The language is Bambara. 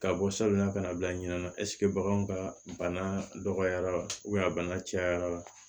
Ka bɔ salon kana bila ɲinɛ ɛ ɛsike baganw ka bana dɔgɔyara wa a bana cayara